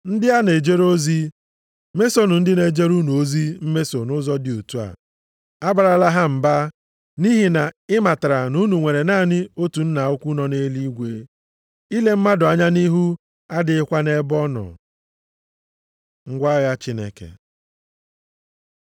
Ndị a na-ejere ozi, mesonụ ndị na-ejere unu ozi mmeso nʼụzọ dị otu a. Abarala ha mba, nʼihi na ị matara na unu nwere naanị otu Nna ukwu nọ nʼeluigwe. Ile mmadụ anya nʼihu adịghịkwa nʼebe ọ nọ. Ngwa agha Chineke